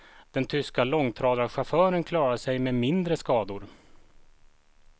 Den tyska långtradarchauffören klarade sig med mindre skador.